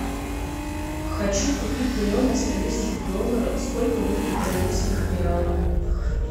хочу купить миллион австралийских долларов сколько будет в бразильских реалах